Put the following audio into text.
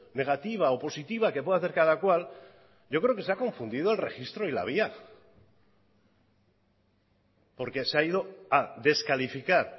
negativa o positiva que puede hacer cada cual yo creo que se ha confundido el registro y la vía porque se ha ido a descalificar